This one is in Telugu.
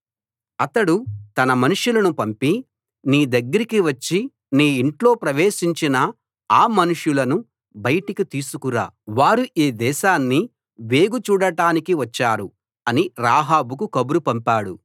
అతడు తన మనుషులను పంపి నీ దగ్గరికి వచ్చి నీ ఇంట్లో ప్రవేశించిన ఆ మనుషులను బయటికి తీసుకురా వారు ఈ దేశాన్ని వేగు చూడటానికి వచ్చారు అని రాహాబుకు కబురు పంపాడు